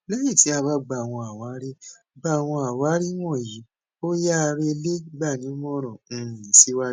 lẹyìn ti a bá gba àwọn àwárí gba àwọn àwárí wọnyí òyàá rẹ le gbanímọràn um siwajú